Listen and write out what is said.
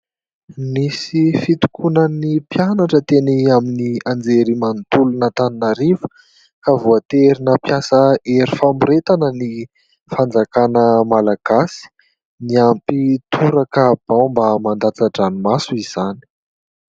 Nisy fitokonan'ny mpianatra teny amin'ny anjery manontolon' antananarivo ka voatery nampiasa hery famoretana ny fanjakana Malagasy. Niampy toraka baomba mandratsa- dranomaso izany.